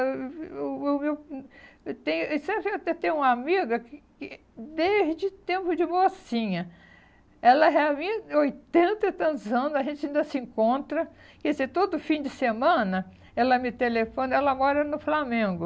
Eu eu eu eu hum eu tenho e você vê eu tenho até uma amiga que que eh desde o tempo de mocinha, ela já vem há oitenta e tantos anos, a gente ainda se encontra, quer dizer, todo fim de semana ela me telefona, ela mora no Flamengo.